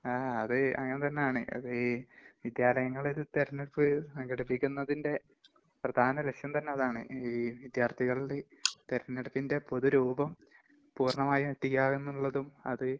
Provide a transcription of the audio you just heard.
ങാ, അത് അങ്ങനെതന്നാണ്. അത് ഈ വിദ്യാലയങ്ങള് തെരെഞ്ഞെടുപ്പ് സംഘടിപ്പിക്കുന്നതിൻ്റെ പ്രധാന ലക്ഷ്യംതന്നെ അതാണ്. ഈ വിദ്യാർത്ഥികളിൽ തെരഞ്ഞെടുപ്പിന്റെ പൊതുരൂപം പൂർണമായി എത്തിക്കാം എന്നുള്ളതും അത്...